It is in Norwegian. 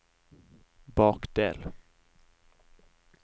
bakdel